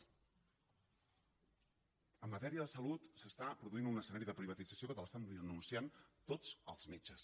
en matèria de salut es produeix un escenari de privatització que el denuncien tots els metges